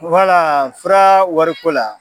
Wala fura wariko la.